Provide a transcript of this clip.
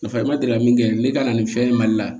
Nafa ma deli ka min kɛ ne ka na nin fɛn in mali la